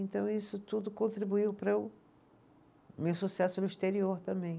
Então isso tudo contribuiu para o meu sucesso no exterior também.